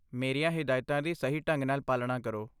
ਮੇਰੀਆਂ ਹਿਦਾਇਤਾਂ ਦੀ ਸਹੀ ਢੰਗ ਨਾਲ ਪਾਲਣਾ ਕਰੋ।